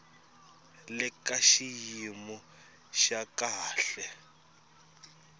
le ka xiyimo xa kahle